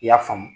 I y'a faamu